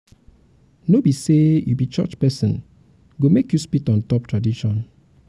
um no be sey you um be church pesin go make you spit on top um tradition.